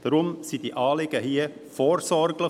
Deshalb sind diese Anliegen hier vorsorglich.